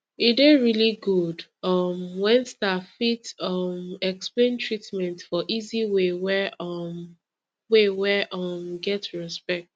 e dey really good um when staff fit um explain treatment for easy way wey um way wey um get respect